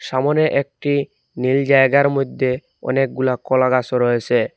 সামোনে একটি নীল জায়গার মধ্যে অনেকগুলা কলা গাছও রয়েছে।